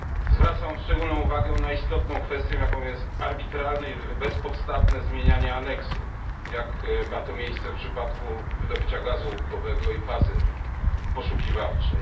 Zwracam szczególną uwagę na istotną kwestię, jaką jest arbitralne i bezpodstawne zmienianie załącznika, jak ma to miejsce w przypadku wydobycia gazu łupkowego i fazy poszukiwawczej.